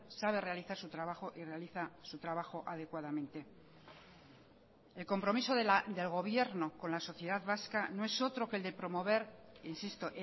sabe realizar su trabajo y realiza su trabajo adecuadamente el compromiso del gobierno con la sociedad vasca no es otro que el de promover insisto